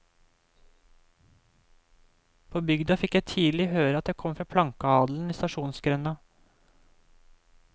På bygda fikk jeg tidlig høre at jeg kom fra plankeadelen i stasjonsgrenda.